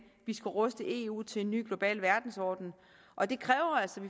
vi skal ruste eu til en ny global verdensorden og det kræver altså